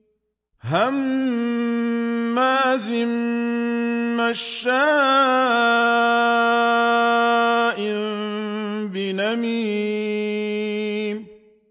هَمَّازٍ مَّشَّاءٍ بِنَمِيمٍ